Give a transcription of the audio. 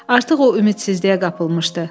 Artıq o ümidsizliyə qapılmışdı.